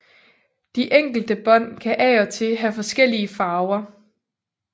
De enkelte bånd kan af og til have forskellige farver